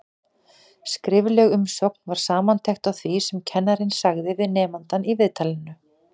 Skrifleg umsögn var samantekt á því sem kennarinn sagði við nemandann í viðtalinu.